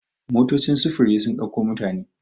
motocin sufuri sun dauko mutane